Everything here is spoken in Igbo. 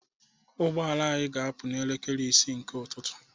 Ụgbọ ala anyị ga-apụ n'elekere isii nke ụtụtụ